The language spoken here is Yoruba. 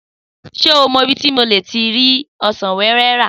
Sé o mo ibi ti mo ti le rí ọsàn wéwé rà?